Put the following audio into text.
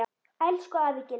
Elsku afi Gylfi.